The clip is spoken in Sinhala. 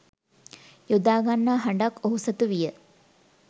යොදා ගන්නා හඬක් ඔහු සතුවිය.